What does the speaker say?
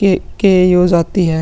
ये कइये बजे जाती है।